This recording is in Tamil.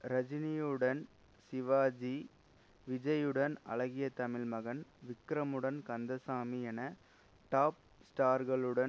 ரஜினியுடன் சிவாஜி விஜய்யுடன் அழகிய தமிழ்மகன் விக்ரமுடன் கந்தசாமி என டாப் ஸ்டார்களுடன்